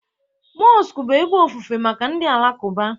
Mosku bụ ebe ofufe maka ndị Alakuba